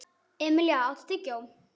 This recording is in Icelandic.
Emilía, áttu tyggjó?